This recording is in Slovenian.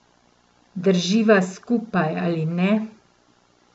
Drživa skupaj ali ne?